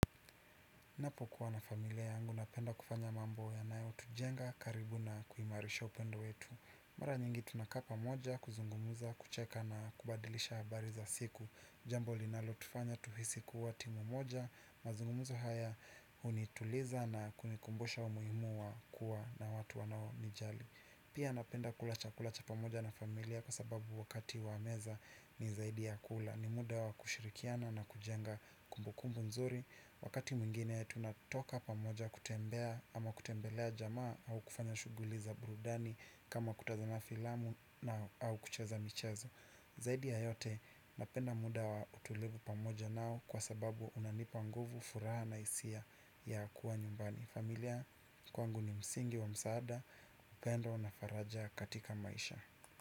Napo kuwa na familia yangu napenda kufanya mambo yanaeo tujenga karibu na kuimarisha upendo wetu. Mara nyingi tunaka pamoja kuzungumuza kucheka na kubadilisha habari za siku. Jambo linalo tufanya tuhisi kuwa timu moja mazungumuzo haya unituliza na kunikumbusha umuimu wa kuwa na watu wanaonijali. Pia napenda kula chakula cha pamoja na familia kwa sababu wakati wameza ni zaidi ya kula. Ni muda wa kushirikiana na kujenga kumbukumbu nzuri. Wakati mwingine ya tunatoka pamoja kutembea ama kutembelea jamaa au kufanya shuguli za burudani kama kutazama filamu na au kucheza michezo. Zaidi ya yote napenda muda wa utulivu pamoja nao. Kwa sababu unanipa nguvu furaha na isia ya kuwa nyumbani. Familia kwangu ni msingi wa msaada. Upendo na faraja katika maisha.